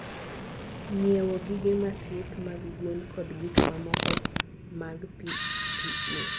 Ng'iewo gige thieth mag gwen kod gik mamoko mag PPE.